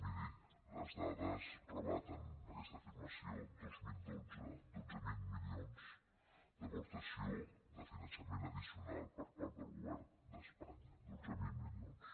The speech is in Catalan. miri les dades rebaten aquesta afirmació dos mil dotze dotze mil milions d’aportació de finançament addicional per part del govern d’espanya dotze mil milions